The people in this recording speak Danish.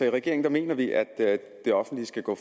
i regeringen mener vi at det offentlige skal gå